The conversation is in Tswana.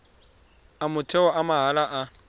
a motheo a mahala a